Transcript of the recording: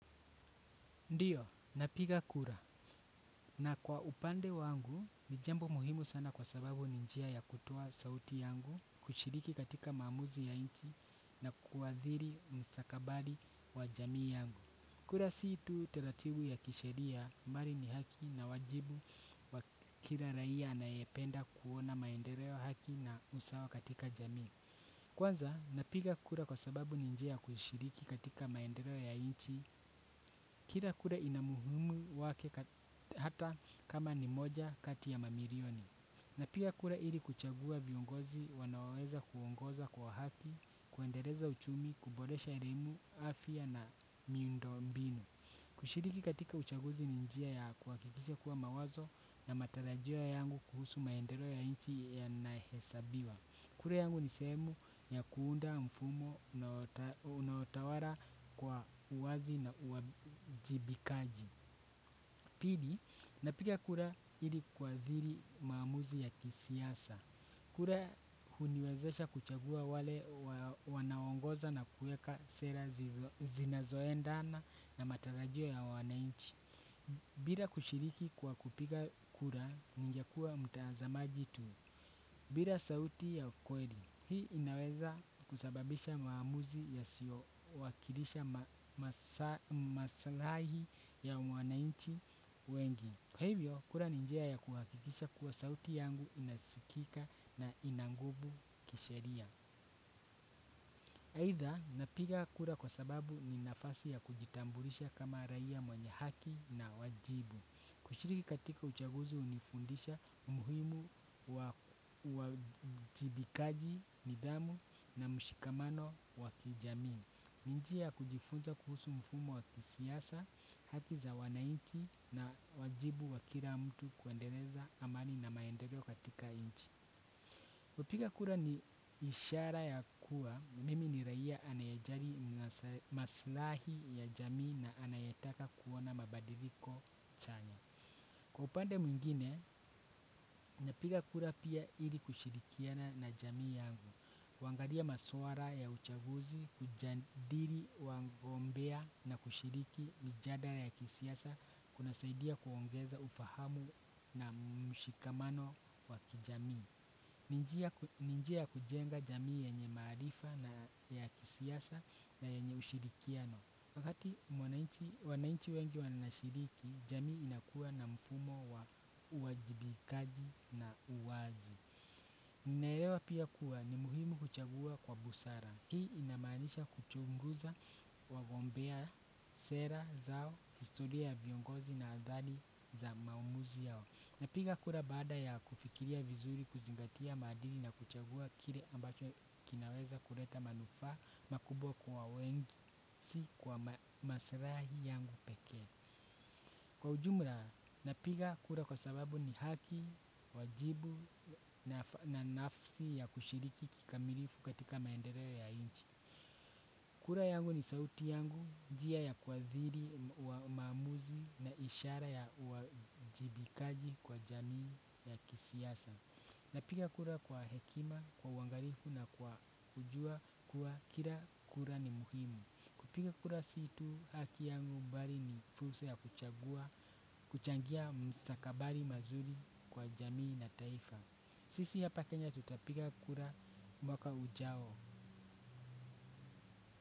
Ndiyo, napiga kura. Na kwa upande wangu, ni jambo muhimu sana kwa sababu ni njia ya kutoa sauti yangu kushiriki katika maamuzi ya inchi na kuwadhiri msakabali wa jamii yangu. Kura si tu taratibu ya kisheria bali ni haki na wajibu wa kila raia anayependa kuona maendeleo, haki na usawa katika jamii. Kwanza, napiga kura kwa sababu ni njia ya kushiriki katika maendeleo ya inchi, kila kura ina muhumu wake ata kama ni moja kati ya mamilioni. Napiga kura ili kuchagua viongozi wanaoweza kuongoza kwa haki, kuendeleza uchumi, kuboresha elimu, afya na miundo mbinu. Kushiriki katika uchaguzi ni njia ya kuhakikisha kuwa mawazo na matarajio yangu kuhusu maendeleo ya inchi yanahesabiwa. Kura yangu ni sehemu ya kuunda mfumo unaotawala kwa uwazi na uajibikaji. Pili, napiga kura ili kuadhiri maamuzi ya kisiasa. Kura huniwezesha kuchagua wale wanaongoza na kueka sera zinazoendana na matarajio ya wanainchi. Bila kushiriki kwa kupiga kura ningekua mtazamaji tu. Bila sauti ya kweli, hii inaweza kusababisha maamuzi yasiowakilisha maslahi ya wanainchi wengi. Kwa hivyo, kura ni njia ya kuhakikisha kuwa sauti yangu inasikika na ina nguvu kisheria. Aidha ninapiga kura kwa sababu ni nafasi ya kujitambulisha kama raia mwenye haki na wajibu. Kushiriki katika uchaguzi umenifundisha umuhimu wa uwajibikaji, nidhamu na mshikamano waki jamii. Ni njia ya kujifunza kuhusu mfumo wa kisiasa haki za wanainchi na wajibu wa kila mtu kuendeleza amani na maendeleo katika inchi. Kupiga kura ni ishara ya kuwa, mimi ni raia anaye ajali maslahi ya jamii na anayetaka kuona mabadiliko chanya. Kwa upande mwingine, napiga kura pia ili kushirikiana na jamii yangu. Kuangalia maswala ya uchaguzi, kujadili, wangombea na kushiriki, mijadala ya kisiasa, kuna saidia kuongeza ufahamu na mshikamano wa kijamii. Ni njia ya kujenga jamii yenye maarifa na ya kisiasa na yenye ushirikiano. Adi wanainchi wengi wanashiriki, jamii inakua na mfumo wa uwajibikaji na uwazi. Ninaelewa pia kuwa ni muhimu kuchagua kwa busara. Hii inamanisha kuchunguza wagombea, sera zao, kistoria ya viongozi na adhali za maumuzi yao. Napiga kura bada ya kufikiria vizuri kuzingatia maadili na kuchagua kile ambacho kinaweza kuleta manufaa makubwa kwa wengi. Si kwa maslahi yangu pekee. Kwa ujumla, napiga kura kwa sababu ni haki, wajibu na nafsi ya kushiriki kikamilifu katika maendeleo ya inchi. Kura yangu ni sauti yangu, njia ya kuadhiri wa maamuzi na ishara ya uajibikaji kwa jamii ya kisiasa. Napiga kura kwa hekima, kwa uangalifu na kwa kujua kuwa kila kura ni muhimu. Kupiga kura si tu haki yangu mbali ni fursa ya kuchagua, kuchangia mstakabali mazuri kwa jamii na taifa. Sisi ya hapa Kenya tutapiga kura mwaka ujao.